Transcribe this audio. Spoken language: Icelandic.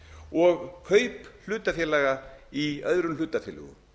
og kaup hlutafélaga í öðrum hlutafélögum